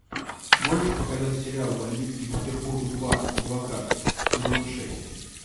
можешь показать сериал бандитский петербург два адвокат сезон шесть